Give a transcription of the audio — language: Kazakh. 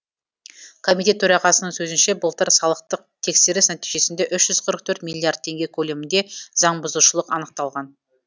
комитет төрағасының сөзінше былтыр салықтық тексеріс нәтижесінде үш жүз қырық төрт миллиард теңге көлемінде заңбұзушылық анықталған